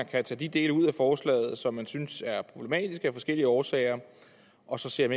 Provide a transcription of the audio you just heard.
kan tage de dele ud af forslaget som man synes er problematiske af forskellige årsager og så se om